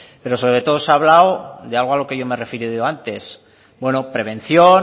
pero sobre todo se ha hablado de algo a lo que yo me he referido antes bueno prevención